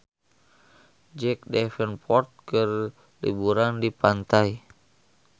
Jack Davenport keur liburan di pantai